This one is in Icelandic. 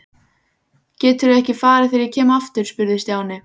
Geturðu ekki farið þegar ég kem aftur? spurði Stjáni.